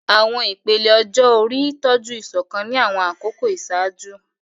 Àwọn ìpele ọjọ́ orí tọ́jú ìṣọ̀kan ní àwọn àkókò ìṣáájú.